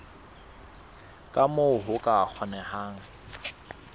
ka moo ho ka kgonehang